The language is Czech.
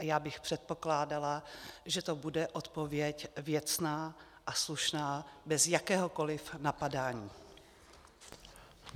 A já bych předpokládala, že to bude odpověď věcná a slušná bez jakéhokoliv napadání.